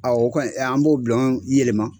A o kɔni an b'o bulɔn yɛlɛma